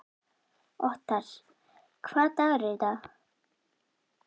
Othar, hvaða dagur er í dag?